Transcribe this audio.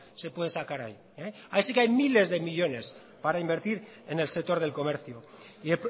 se puede sacar ahí ahí sí que hay miles de millónes para invertir en el sector del comercio y